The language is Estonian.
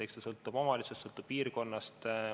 Eks see sõltub omavalitsusest, sõltub piirkonnast.